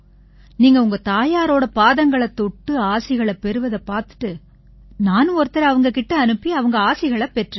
நீங்க உங்க தாயாரோட பாதங்களைத் தொட்டு ஆசிகளைப் பெறுவதைப் பார்த்துட்டு நானும் ஒருத்தரை அவங்க கிட்ட அனுப்பி அவங்க ஆசிகளைப் பெற்றேன்